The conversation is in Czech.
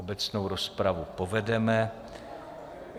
Obecnou rozpravu povedeme.